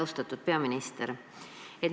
Austatud peaminister!